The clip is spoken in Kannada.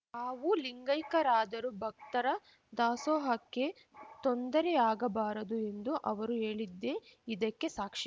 ತಾವು ಲಿಂಗೈಕ್ಯರಾದರೂ ಭಕ್ತರ ದಾಸೋಹಕ್ಕೆ ತೊಂದರೆಯಾಗಬಾರದು ಎಂದು ಅವರು ಹೇಳಿದ್ದೇ ಇದಕ್ಕೆ ಸಾಕ್ಷಿ